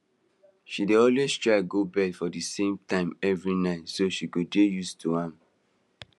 she dey always try go bed for the same time every night so she go dey used to am